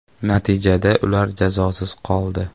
Natijada ular jazosiz qoldi.